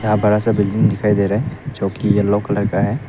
यहां बड़ा सा बिल्डिंग दिखाई दे रहा है जोकि येलो कलर का है।